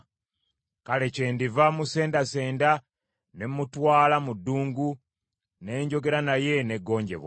Kale kyendiva musendasenda, ne mmutwala mu ddungu, ne njogera naye n’eggonjebwa.